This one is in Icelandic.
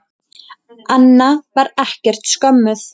Anna var ekkert skömmuð.